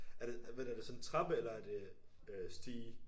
Er det hvad er det sådan en trappe eller er det øh stige?